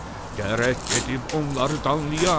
Gərək gedib onları danlayam.